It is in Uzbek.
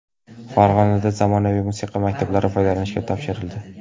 Farg‘onada zamonaviy musiqa maktablari foydalanishga topshirildi.